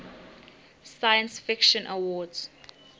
science fiction awards